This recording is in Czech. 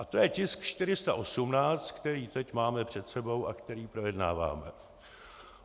A to je tisk 418, který teď máme před sebou a který projednáváme.